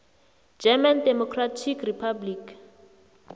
german democratic republic